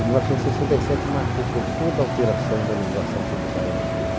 E, em mil novecentos e sessenta e sete, marcou por toda a alteração da legislação tributária brasileira.